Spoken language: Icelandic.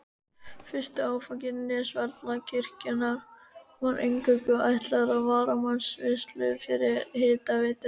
Fyrsti áfangi Nesjavallavirkjunar var eingöngu ætlaður til varmavinnslu fyrir hitaveituna.